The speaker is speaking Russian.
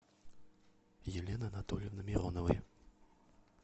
елены анатольевны мироновой